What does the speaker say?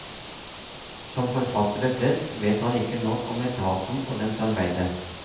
Som forfattere flest vet han ikke nok om etaten og dens arbeide.